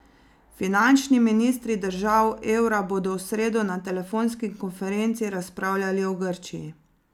Finančni ministri držav evra bodo v sredo na telefonski konferenci razpravljali o Grčiji.